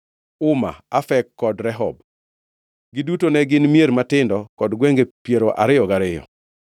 Uma, Afek kod Rehob. Giduto ne gin mier matindo kod gwenge piero ariyo gariyo.